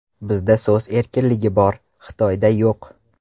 Bizda so‘z erkinligi bor, Xitoyda yo‘q.